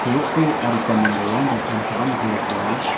soroko adita manderangba kam ka·aniko dakenga.